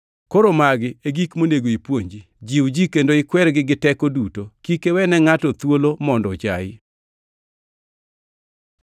Koro magi e gik monego ipuonji. Jiw ji kendo ikwergi gi teko duto. Kik iwene ngʼato thuolo mondo ochayi.